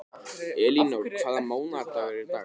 Elínór, hvaða mánaðardagur er í dag?